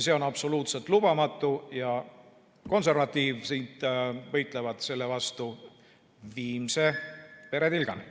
See on absoluutselt lubamatu ja konservatiivid võitlevad selle vastu viimse veretilgani.